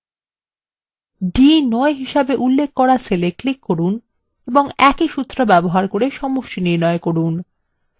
d9 হিসেবে উল্লেখ করা cell এ click করুন এবং একই সূত্র ব্যবহার করে সমষ্টি নির্ণয় করুন